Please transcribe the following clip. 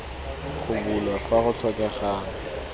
go bulwa fa go tlhokegang